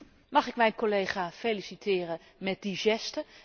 Mag ik mijn collega feliciteren met die geste?